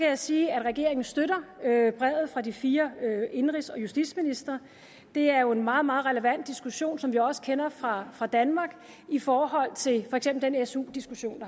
jeg sige at regeringen støtter brevet fra de fire indenrigs og justitsministre det er jo en meget meget relevant diskussion som vi også kender fra fra danmark i forhold til for eksempel den su diskussion